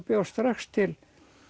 bjó strax til